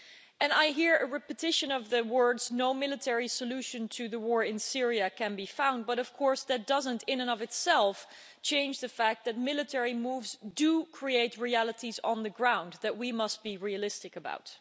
And I hear a repetition of the words no military solution to the war in Syria can be found', but of course that doesn't in and of itself change the fact that military moves do create realities on the ground that we must be realistic about.